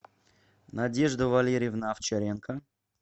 надежда валерьевна овчаренко